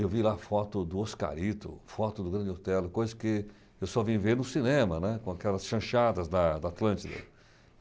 Eu vi lá foto do Oscarito, foto do grande hotel, coisa que eu só vim ver no cinema, né. com aquelas chanchadas da da Atlântida.